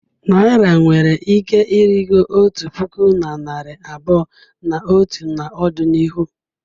Naira nwere ike ịrịgo otu puku na narị abụọ na atọ n'ọdịnihu.